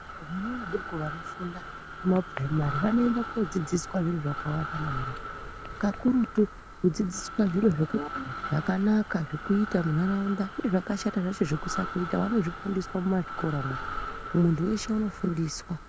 Vana vadoko vanofunda kumapuraimari vanoenda kofunda zviro zvakawanda maningi kakurutu kudzidziswa zviro zvakanaka zvekuita munharaunda nezvakashata zvacho zvekusatoita vanozvifundiswa mumazvikoramwo, muntu weshe unofundiswa.